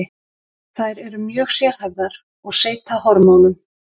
Þær eru mjög sérhæfðar og seyta hormónum.